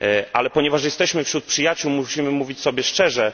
Ale ponieważ jesteśmy wśród przyjaciół, musimy mówić sobie szczerze.